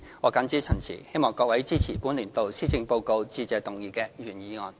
我謹此陳辭，希望各位支持本年度施政報告致謝議案的原議案。